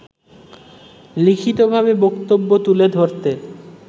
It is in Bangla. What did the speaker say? লিখিতভাবে বক্তব্য তুলে ধরতে